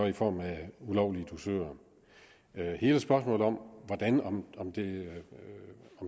i form af ulovlige dusører i hele spørgsmålet om om det